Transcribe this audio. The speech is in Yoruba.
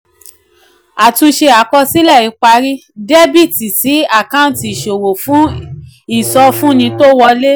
àtúnṣe àkọsílẹ̀ ìparí: debit sí àkáǹtì ìṣòwò fún ìsọfúnni tó wọlé.